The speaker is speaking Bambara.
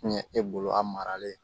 Kun ye e bolo a maralen